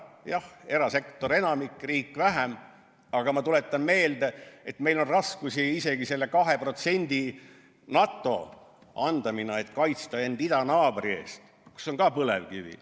Jah, erasektor kannaks enamiku, riik vähem, aga ma tuletan meelde, et meil on raskusi isegi selle 2% NATO summa leidmisega, et kaitsta end idanaabri eest, kus on ka põlevkivi.